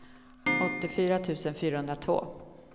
åttiofyra tusen fyrahundratvå